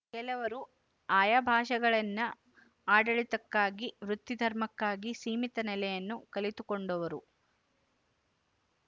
ಕೆಲವರು ಆಯಾ ಭಾಷೆಗಳನ್ನು ಆಡಳಿತಕ್ಕಾಗಿ ವೃತ್ತಿಧರ್ಮಕ್ಕಾಗಿ ಸೀಮಿತ ನೆಲೆಯಲ್ಲಿ ಕಲಿತುಕೊಂಡವರು